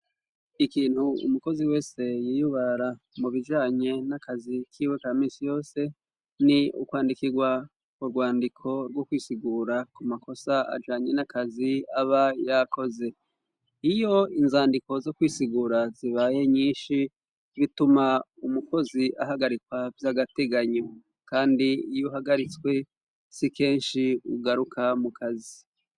Ikintu umukozi wese yiyubara, mu bijanye n'akazi kiwe ka minsi yose, ni ukwandika urwandiko rwo kwisigura ku makosa ajanye n'akazi aba yakoze, iyo inzandiko zo kwisigura zibaye nyinshi, bituma umukozi ahagarikwa vy'agateganyo, kandi iy'uhagaritswe, si kenshi ugaruka mu kazi.